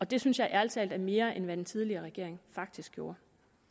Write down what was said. det synes jeg ærlig talt er mere end det den tidligere regering faktisk gjorde